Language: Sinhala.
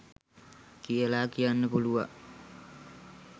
කියල කියන්න පුළුවන්.